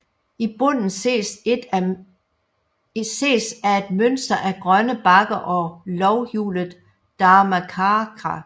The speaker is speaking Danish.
I bunden ses af et mønster af grønne bakker og lovhjulet Dharmacakra